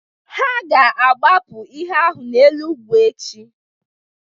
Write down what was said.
Ha ga-agbapụ ihe ahụ n'elu ugwu echi